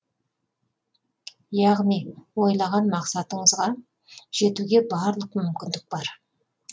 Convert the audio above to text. яғни ойлаған мақсаттарыңызға жетуге барлық мүмкіндік бар